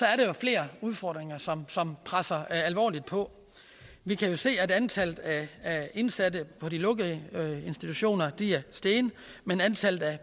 at der er flere udfordringer som som presser sig alvorligt på vi kan jo se at antallet af indsatte på de lukkede institutioner er steget men antallet af